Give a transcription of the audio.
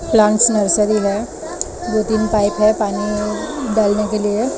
plans nursery है दो तीन पाइप हैं पानी डालने के लिए--